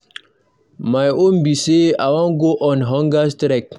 My own be say I wan go on hunger strike.